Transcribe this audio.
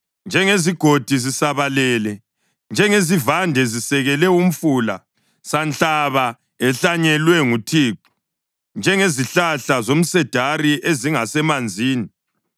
Njengezigodi zisabalele, njengezivande zisekele umfula, sanhlaba ehlanyelwe nguThixo, njengezihlahla zomsedari ezingasemanzini.